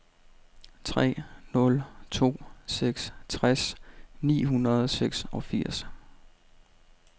tre nul to seks tres ni hundrede og seksogfirs